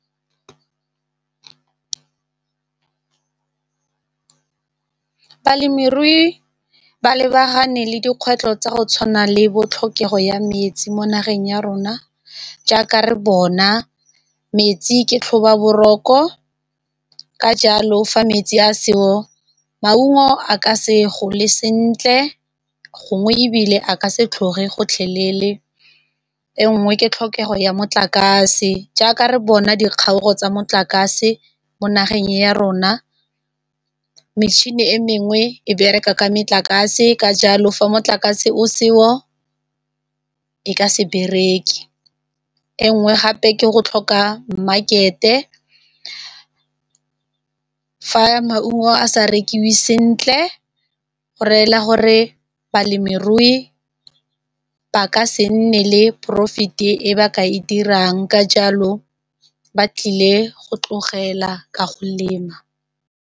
Balemirui ba lebagane le dikgwetlho tsa go tshwana le bo tlhokego ya metsi mo nageng ya rona jaaka re bona metsi ke tlhobaboroko, ka jalo fa metsi a seo maungo a ka se gole sentle, gongwe ebile a ka se tlhoge gotlhelele. E nngwe ke tlhokego ya motlakase jaaka re bona dikgaogo tsa motlakase mo nageng e ya rona, metšhini e mengwe e bereka ka metlakase ka jalo fa motlakase o seo e ka se bereke. E nngwe gape ke go tlhoka mmakete fa maungo a sa rekiwe sentle go reela gore balemirui ba ka se nne le porofete e ba ka e dirang ka jalo ba tlile go tlogela ka go lema.